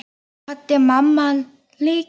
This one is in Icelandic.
Svo kvaddi mamma líka.